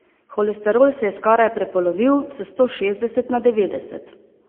Holesterol se je skorajda prepolovil, s sto šestdeset na devetdeset.